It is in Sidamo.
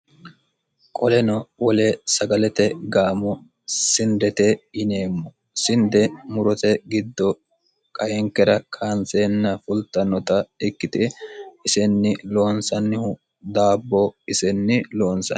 qoleno wole sagalete gaamo sindete yineemmo sinde murote giddo kainkera kaanseenna fultannota ikkite isenni loonsannihu daabbo isenni loonsan